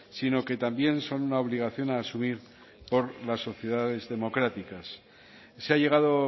sino que también son una obligación a asumir por las sociedades democráticas se ha llegado